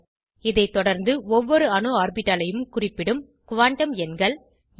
இதை தொடர்ந்து ஒவ்வொரு அணு ஆர்பிட்டாலையும் குறிப்பிடும் குவாண்டம் எண்கள் ந்